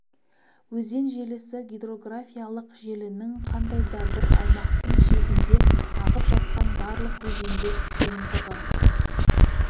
өзен желісі гидрографиялық желінің қандай да бір аумақтың шегінде ағып жатқан барлық өзендер жиынтығы